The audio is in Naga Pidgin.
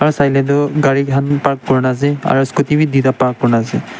sai ley toh gari khan park kuri kena ase aro scooty b tuida park kuri kena ase.